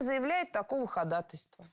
заявляет такого ходатайства